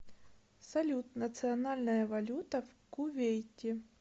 салют национальная валюта в кувейте